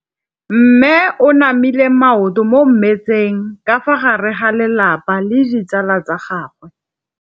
Mme o namile maoto mo mmetseng ka fa gare ga lelapa le ditsala tsa gagwe.